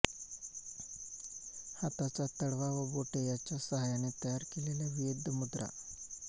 हाताचा तळवा व बोटे यांच्या सहाय्याने तयार केलेल्या विविध मुद्रा